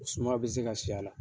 O suma be se ka si a la.